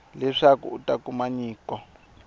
leswaku a ta kuma nyiko